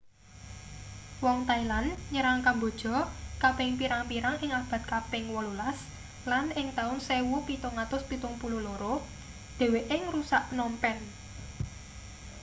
wong thailand nyerang kamboja kaping pirang-pirang ing abad kaping 18 lan ing taun 1772 dheweke ngrusak phnom phen